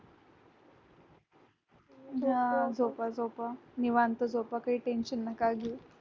हा झोपा झोपा निवांत झोपा काय tension नका घेऊ